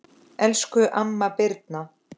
Elsku amma Birna.